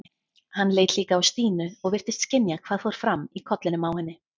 Hann leit líka á Stínu og virtist skynja hvað fór fram í kollinum á henni.